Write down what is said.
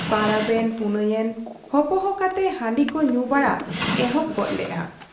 ᱯᱟᱨᱟᱵᱽ ᱮᱱ ᱯᱩᱱᱟᱹᱭ ᱮᱱ ᱦᱚᱯᱚᱦᱚ ᱠᱟᱛᱮ ᱦᱟᱺᱰᱤ ᱠᱚ ᱧᱩ ᱵᱟᱲᱟ ᱮᱦᱚᱵᱽ ᱜᱚᱫᱽ ᱞᱮᱜ ᱟ ᱾